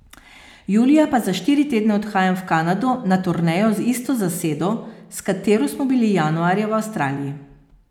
Julija pa za štiri tedne odhajam v Kanado na turnejo z isto zasedo, s katero smo bili januarja v Avstraliji.